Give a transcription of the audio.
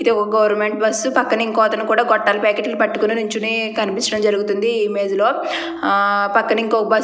ఒక government bus పక్కన ఇంకో అతను కూడా గోట్టాలు ప్యాకెట్లు పట్టుకొని నుంచుని కనిపించడం జరుగుతుంది ఈ ఇమేజ్ లో. పక్కనే ఇంకో బస్సు --